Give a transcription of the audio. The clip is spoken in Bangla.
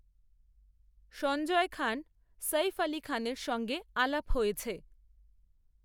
সঞ্জয় খান, সঈফ আলি খানের সঙ্গে আলাপ হয়েছে